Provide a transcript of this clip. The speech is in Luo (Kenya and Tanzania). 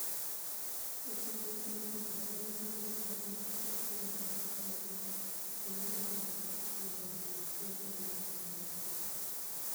Osiepega koda osiepnia mani e ageno ni e paro nii koro ni e adhi weyo timbenia maricho, kenido weyo bedo nig'at monig'ere ahiniya, mi abed nig'at maonige osiepe.